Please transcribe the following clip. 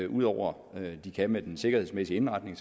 ud over det de kan med den sikkerhedsmæssige indretning